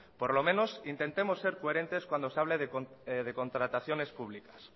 por lo menos intentemos ser coherentes cuando se hable de contrataciones públicas